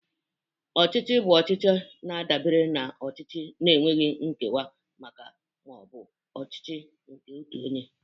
Ọchịchị bụ ọchịchị na-adabere na ọchịchị na-enweghị nkewa ma ọ bụ ọchịchị nke otu onye